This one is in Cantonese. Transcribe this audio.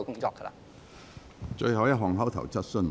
最後一項口頭質詢。